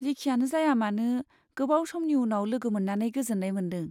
जिखियानो जायामानो, गोबाव समनि उनाव लोगो मोन्नानै गोजोन्नाय मोन्दों।